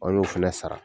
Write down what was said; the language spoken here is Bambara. An y'o fana sara